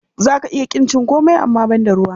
Za ka iya ƙin cin komai amma banda ruwa.